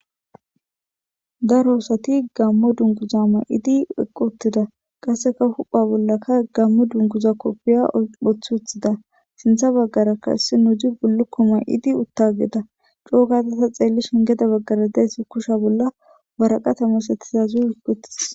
daro osati gammo dunguzaama idi eqquttida qasseka hupha bollaka gammo dunguza koppiya phothuthida sintha baggara kasse nudi bullukkoma idi uttageda coo gatata xeelli shingeda baggara deesi kusha bolla waraqatamas etizazu hikuttis